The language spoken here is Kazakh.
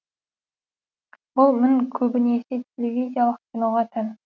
бұл мін көбінесе телевизиялық киноға тән